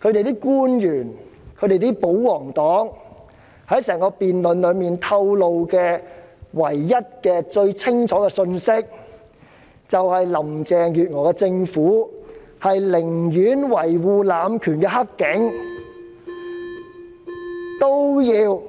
政府官員和保皇黨在整項辯論中清楚透露的唯一信息，便是林鄭月娥政府寧願維護濫權的"黑警"，亦要